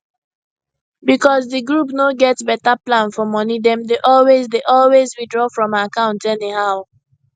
because di group no get better plan for money dem dey always dey always withdraw from account anyhow